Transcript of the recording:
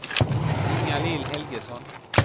Inga-Lill Helgesson